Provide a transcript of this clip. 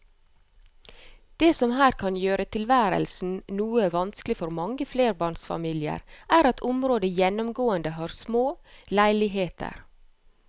Det som her kan gjøre tilværelsen noe vanskelig for mange flerbarnsfamilier er at området gjennomgående har små leiligheter.